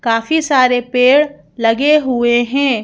काफी सारे पेड़ लगे हुए हैं।